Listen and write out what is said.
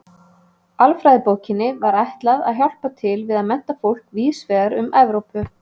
Alfræðibókinni var ætlað að hjálpa til við að mennta fólk víðs vegar um Evrópu.